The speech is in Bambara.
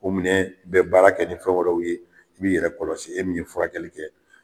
O minɛ bɛ baara kɛ ni fɛn wɛrɛw ye i bi yɛrɛ kɔlɔsi e min ye furakɛli kɛ.